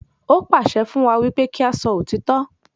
Ó pàṣẹ fún wa wípé kí a sọ òtítọ́